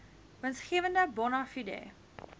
winsgewende bona fide